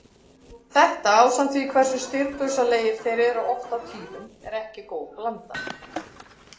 Þetta ásamt því hversu stirðbusalegir þeir eru oft á tíðum er ekki góð blanda.